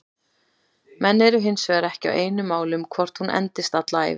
Menn eru hinsvegar ekki á einu máli um hvort hún endist alla ævi.